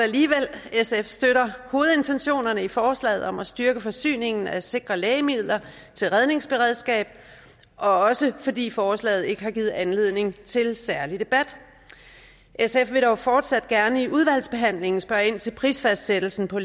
sf støtter hovedintentionerne i forslaget om at styrke forsyningen af sikre lægemidler til redningsberedskab også fordi forslaget ikke har givet anledning til særlig debat sf vil dog fortsat gerne i udvalgsbehandlingen spørge ind til prisfastsættelsen på